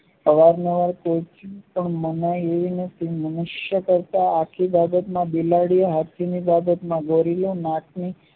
અવાર નવાર મનાયી એવી નથી મનુષ્ય કરતા આખી બાબતમાં બિલાડી હાથીની બાબતમાં ગોરીઓ